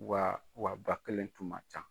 Wa wa ba kelen tun ma can